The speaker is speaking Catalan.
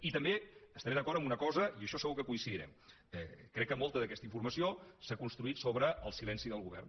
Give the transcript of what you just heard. i també estaré d’acord en una cosa i en això segur que coincidirem crec que molta d’aquesta informació s’ha construït sobre el silenci del govern